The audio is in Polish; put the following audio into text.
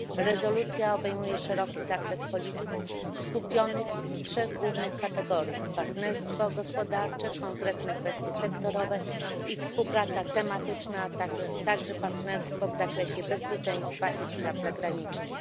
Rezolucja obejmuje szeroki zakres polityk skupionych w trzech głównych kategoriach partnerstwo gospodarcze, konkretne kwestie sektorowe i współpraca tematyczna, a także partnerstwo w zakresie bezpieczeństwa i spraw zagranicznych.